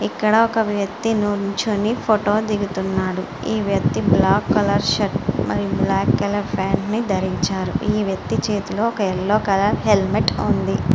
ఇక్కడే ఒక వ్యక్తి నించొని ఫోటో దిగుతున్నాడు. ఈ వ్యక్తి బ్లాక్ కలర్ షర్టు మరియు బ్లాక్ కలర్ ప్యాంటు ధరించాడు. ఈ వ్యక్తి చేతిలో ఎల్లో కలర్ హెల్మెట్ ఉంది.